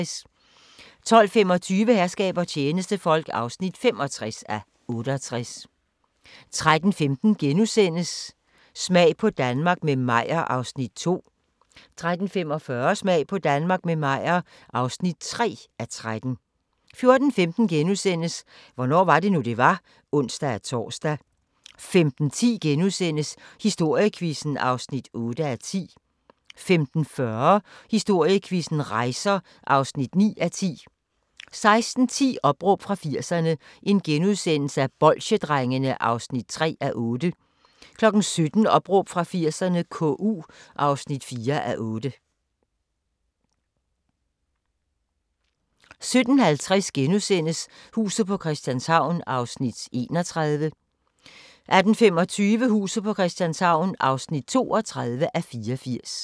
12:25: Herskab og tjenestefolk (65:68) 13:15: Smag på Danmark – med Meyer (2:13)* 13:45: Smag på Danmark – med Meyer (3:13) 14:15: Hvornår var det nu, det var? *(ons-tor) 15:10: Historiequizzen (8:10)* 15:40: Historiequizzen: Rejser (9:10) 16:10: Opråb fra 80'erne – Bolsjedrengene (3:8)* 17:00: Opråb fra 80'erne - KU (4:8) 17:50: Huset på Christianshavn (31:84)* 18:25: Huset på Christianshavn (32:84)*